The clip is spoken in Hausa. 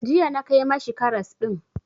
Jiya na kai ma shi karas ɗin.